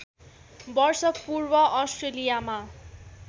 वर्ष पूर्व अस्ट्रेलियामा